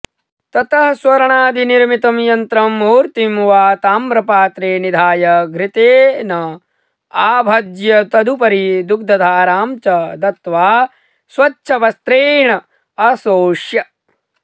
ततः स्वर्णादिनिर्मितं यन्त्रं मूर्तिं वा ताम्रपात्रे निधाय घृतेनाभ्यज्य तदुपरि दुग्धधारां च दत्त्वा स्वच्छवस्त्रेणाशोष्य